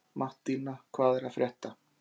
Mattína, hvað er að frétta?